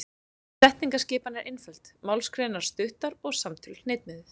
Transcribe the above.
Setningaskipan er einföld, málsgreinar stuttar og samtöl hnitmiðuð.